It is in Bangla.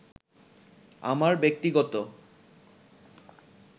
আমার ব্যক্তিগত